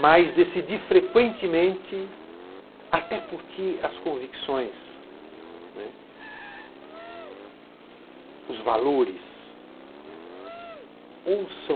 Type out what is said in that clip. Mas decidi frequentemente, até porque as convicções, os valores, ou são